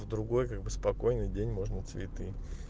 в другой как бы спокойный день можно цветы